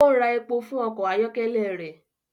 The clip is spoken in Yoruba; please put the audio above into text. O ń rà èpo fún ọkọ ayọkẹlẹ rẹ